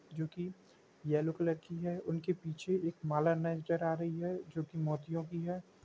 जो की yellow colour की हैं उनके पीछे एक माला नजर आ रही हैं जो की मोतियों की हैं।